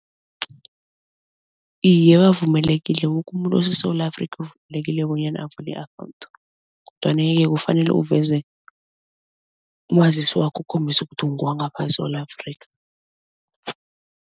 Iye bavumelekile woke umuntu oseSewula Afrika uvumelekile bonyana avule i-account kodwana-ke kufanele uveze umazisi wakho ukukhombisa ukuthi ungewangapha eSewula Afrika.